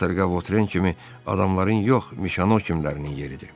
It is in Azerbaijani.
Kater qavotren kimi adamların yox, Mişano kimlərinin yeridir.